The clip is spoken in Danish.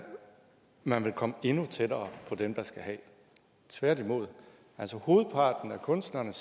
man vil komme endnu tættere på dem der skal have tværtimod altså hovedparten af kunstnerne